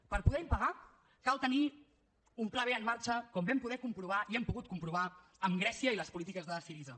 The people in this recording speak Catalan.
per poder impagar cal tenir un pla b en marxa com vam poder comprovar i hem pogut comprovar amb grècia i les polítiques de syriza